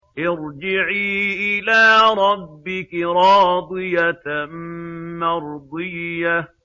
ارْجِعِي إِلَىٰ رَبِّكِ رَاضِيَةً مَّرْضِيَّةً